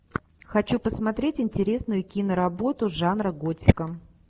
хочу посмотреть интересную киноработу жанра готика